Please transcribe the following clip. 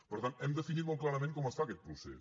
per tant hem definit molt clarament com es fa aquest procés